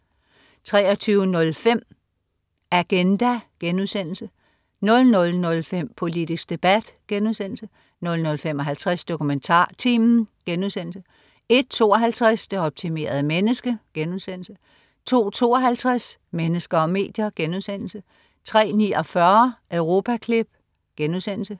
23.05 Agenda* 00.05 Politisk debat* 00.55 DokumentarTimen* 01.52 Det optimerede menneske* 02.52 Mennesker og medier* 03.49 Europaklip*